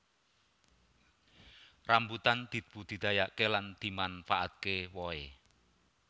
Rambutan dibudidayakaké lan dimanfaatké wohé